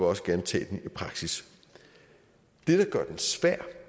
også gerne tage den i praksis det der gør den svær